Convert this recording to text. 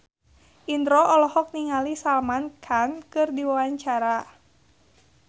Indro olohok ningali Salman Khan keur diwawancara